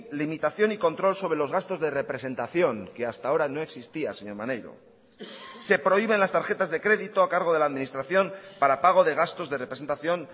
limitación y control sobre los gastos de representación que hasta ahora no existía señor maneiro se prohíben las tarjetas de crédito a cargo de la administración para pago de gastos de representación